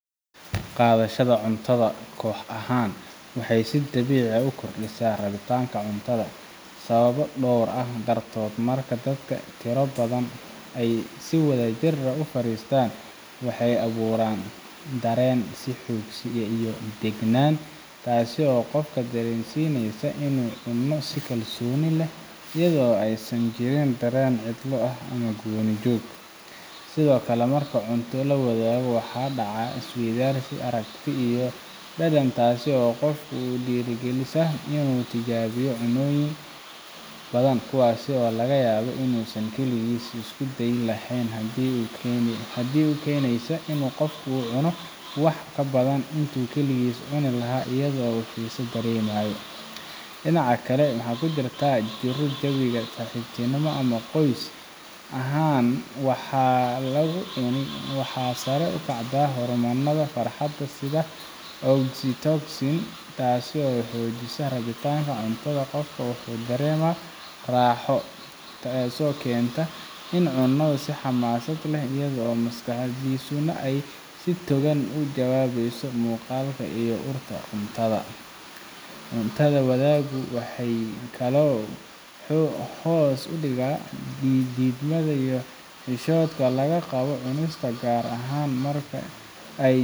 qaadashada cuntada koox ahaan waxay si dabiici ah u kordhisaa rabitaanka cuntada sababo dhowr ah dartood marka dadka tiro ahaan badan ay si wadajir ah u fariistaan waxay abuuraan dareen is-xoogsi iyo deganaan taasoo qofka dareensiinaysa inuu cuno si kalsooni leh iyada oo aysan jirin dareen cidlo ama gooni-joog sidoo kale marka cunto la wadaago waxaa dhaca isweydaarsi aragti iyo dhadhan taasoo qofka ku dhiirrigelisa inuu tijaabiyo cuntooyin badan kuwaas oo laga yaabo inuusan kaligiis isku dayi lahayn taas oo keenaysa in qofku uu cuno wax ka badan intuu keligiis cuni lahaa iyadoo uu xiise dareemayo dhinaca kale marka lagu jiro jawi saaxiibtinimo ama qoys ahaan wax la cuno waxaa sare u kacda hormoonada farxadda sida oxytocin taasoo xoojisa rabitaanka cuntada qofka wuxuu dareemaa raaxo taasoo keenta inuu cuno si xamaasad leh iyadoo maskaxdiisuna ay si togan uga jawaabeyso muuqaalka iyo urta cuntada cunto wadaaggu sidoo kale wuxuu hoos u dhigaa diidmada iyo xishoodka laga qabo cunista gaar ahaan marka ay jirto